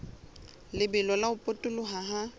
lebelo la ho potoloha ha